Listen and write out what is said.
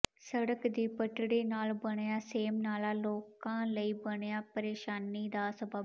ਸੜਕ ਦੀ ਪਟੜੀ ਨਾਲ ਬਣਿਆ ਸੇਮਨਾਲਾ ਲੋਕਾਂ ਲਈ ਬਣਿਆ ਪ੍ਰੇਸ਼ਾਨੀ ਦਾ ਸਬੱਬ